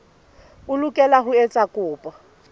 o lokela ho etsa kopo